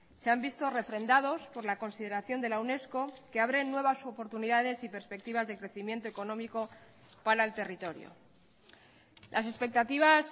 se han visto refrendados por la consideración de la unesco que abren nuevas oportunidades y perspectivas de crecimiento económico para el territorio las expectativas